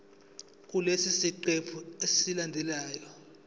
kulesi siqephu esilandelayo